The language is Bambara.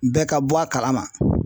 Bɛɛ ka bɔ a kalama.